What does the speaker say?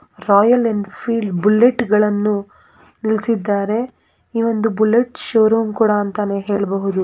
Royal Enfield Bullet ಗಳನ್ನೂ ನಿಲ್ಲಿಸಿದ್ದಾರೆ ಈ ಒಂದು ಬುಲೆಟ್ ಷೋರೂಮ್ ಅಂತಾನೆ ಹೇಳಬಹುದು.